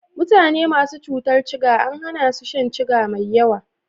Mutane masu cutar ciga an hana su shan ciga mai yawa.